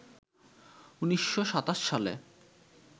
১৯২৭ সালে